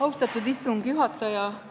Austatud istungi juhataja!